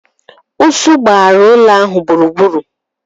Ụsụ gbaghari ụlọ ahụ gburugburu.